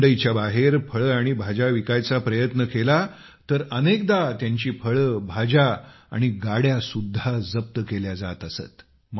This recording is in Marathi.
मंडईच्या बाहेर फळे आणि भाज्या विकायचा प्रयत्न केला तर अनेकदा त्यांची फळे भाज्या आणि गाड्या सुद्धा जप्त केल्या जात असत